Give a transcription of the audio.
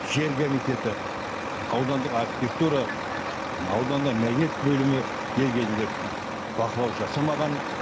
жер комитеті аудандық архитектура ауданда мәдениет бөлімі дер кезінде бақылау жасамаған